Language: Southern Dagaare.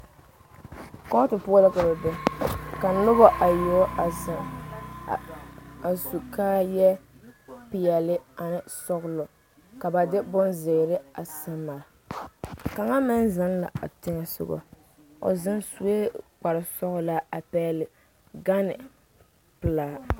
Kootɔ poɔ la ka ba be ka noba bayoɔbo a zeŋ a su kaaya peɛle ane sɔglɔ ka ba de bonziiri a se pare kaŋa meŋ zeŋ la a teŋa soga o zeŋ suɛ kpare sɔglaa a pegle gane pelaa.